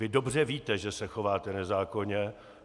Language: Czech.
Vy dobře víte, že se chováte nezákonně.